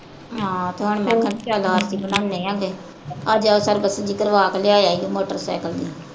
ਹਾਂ ਤੇ ਹੁਣ ਮੈਂ ਕਿਹਾ ਚੱਲ ਆਰ ਸੀ ਬਣਾਉਣੇ ਆਂ ਗੇ। ਅੱਜ ਆਹ ਸਰਵਿਸ ਜਿਹੀ ਕਰਵਾ ਕੇ ਲਿਆ ਈ ਮੋਟਰ ਸਾਇਕਲ ਨੂੰ।